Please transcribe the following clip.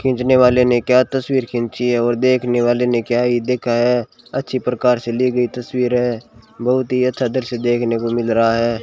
खींचने वाले ने क्या तस्वीर खींची है? और देखने वाले ने क्या ही देखा है? अच्छी प्रकार से ली गई तस्वीर है बहुत ही अच्छा दृश्य देखने को मिल रहा है।